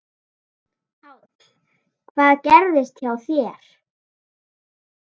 Páll: Hvað gerðist hjá þér?